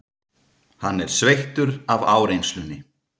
Hann er sveittur af áreynslunni.